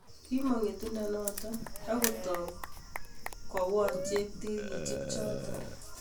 Kimomg ngetundo noto akotou koyon cheptikirchek choto